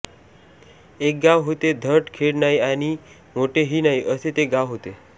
एक गाव होते धड खेड नाही आणि मोठे हि नाही असे ते गाव होते